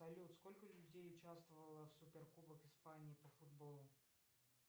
салют сколько людей участвовало в суперкубок испании по футболу